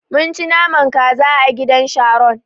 Mun ci naman kaza a gidan Sharon.